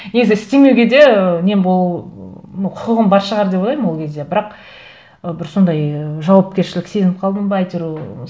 негізі істемеуге де ы нем ну құқығым бар шығар деп ойлаймын ол кезде бірақ ы бір сондай жауапкершілік сезініп қалдым ба әйтеуір